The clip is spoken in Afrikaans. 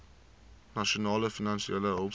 nasionale finansiële hulpskema